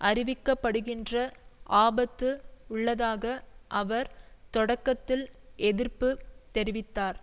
அறிவிக்கப்படுகின்ற ஆபத்து உள்ளதாக அவர் தொடக்கத்தில் எதிர்ப்பு தெரிவித்தார்